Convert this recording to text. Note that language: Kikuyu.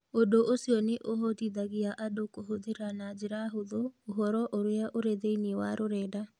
Ũndũ ũcio nĩ ũhotithagia andũ kũhũthĩra na njĩra hũthũ ũhoro ũrĩa ũrĩ thĩinĩ wa rũrenda.